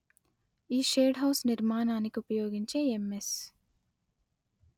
ఈ shade house నిర్మాణానికుపయోగించే MS